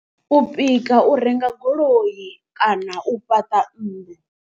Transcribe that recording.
U pika u renga goloi kana u fhaṱa nnḓu.